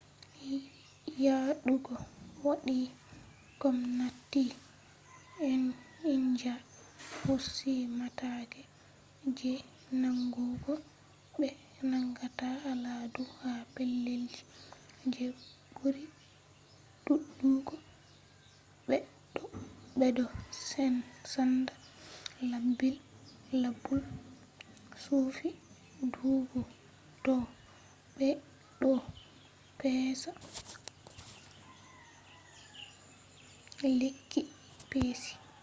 yaɗugo waɗi gomnati india hosi matakai je nangugo ɓe nangata aladu ha pellelji je ɓuri ɗuɗugo ɓeɗo senda labule chufi dubu bo ɓe ɗo pesa lekki peshi